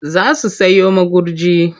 Za su sayo magurji.